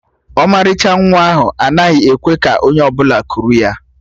Ọmalịcha nwa ahụ anaghị ekwe ka onye ọbụla kuru ya